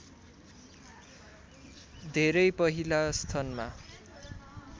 धेरै पहिला स्थनमा